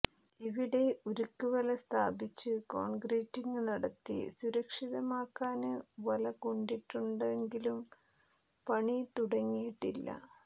ഇവിടെ ഉരുക്ക് വല സ്ഥാപിച്ച് കോണ്ക്രീറ്റിങ് നടത്തി സുരക്ഷിതമാക്കാന് വല കൊണ്ടിട്ടിട്ടുണ്ടെങ്കിലും പണി തുടങ്ങിയിട്ടില്ല